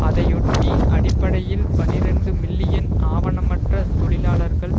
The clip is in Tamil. அதையொட்டி அடிப்படையில் பனிரண்டு மில்லியன் ஆவணமற்ற தொழிலாளர்கள்